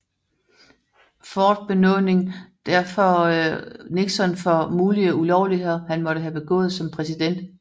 Ford benådning derfor Nixon for mulige ulovligheder han måtte have begået som præsident